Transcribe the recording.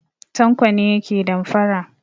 Tanko ne yake damfara.